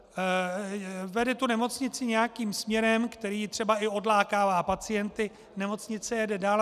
Vede tu nemocnici nějakým směrem, který třeba i odlákává pacienty - nemocnice jede dál.